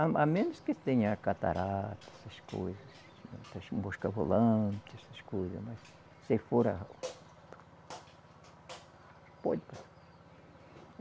A a menos que tenha catarata, essas coisas, mosca volante, essas coisas, mas se for a